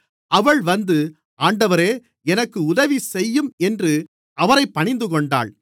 அவள் வந்து ஆண்டவரே எனக்கு உதவிசெய்யும் என்று அவரைப் பணிந்துகொண்டாள்